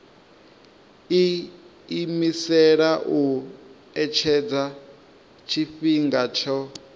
iimisela u etshedza tshifhinga tsho